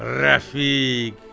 Rəfiq!